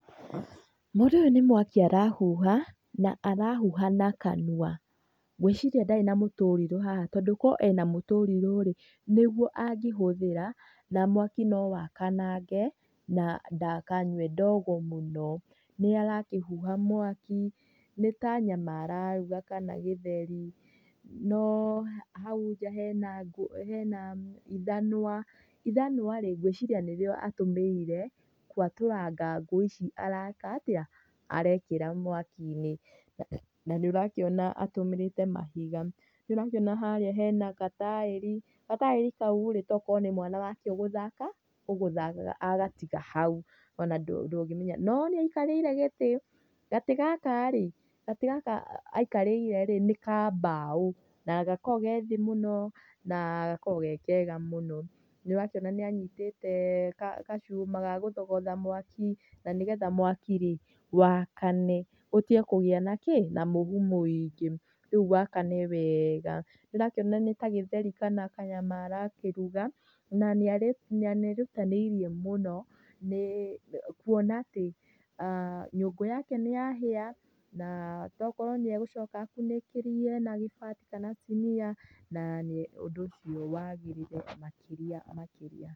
Mũndũ ũyũ nĩ mwaki arahuha, na arahuha na kanua. Ngwĩciria ndarĩ na mũtũrirũ haha tondũ korũo ena mũtũrirũ rĩ, nĩguo angĩhũthĩra na mwaki no wakanange na ndakanyue ndogo mũno. Nĩ arakĩhuha mwaki, nĩ ta nyama araruga kana gĩtheri, no hau nja hena, hena ithanwa. Ithanwa rĩ, gwĩciria nĩrio atũmĩrire gwatũranga ngũ ici areka atĩa, arekĩra mwaki-inĩ. Na nĩ ũrakĩona atũmĩrĩte mahiga, nĩ ũrakĩona harĩa hena gataĩri, gataĩri kau rĩ togũkorwo ni mwana ũgũthakaga agatiga hau, ona ndũngĩmenya. No nĩ aikarĩire gĩtĩ, gatĩ gaka rĩ, gatĩ gaka aikarĩire rĩ, nĩ ka mbao na gakoragwo ge thĩ mũno na gakoragwo ge kega mũno. Nĩ ũrakĩona nĩ anyitĩte gacuma ga gũthogotha mwaki na nĩgetha mwaki rĩ wakane ũtige kũgĩa na kĩ? Na mũhu mũingĩ rĩu wakane wega. Nĩ ũrakĩona nĩ ta gĩtheri kana kanyama arakĩruga na nĩ erutanĩirie mũno kuona atĩ nyũngũ yake nĩ yahĩa na togũkorwo nĩ egũcoka akunĩkĩrie na gĩbati kana sinia na ũndũ ũcio wagĩrĩre makĩria makĩria.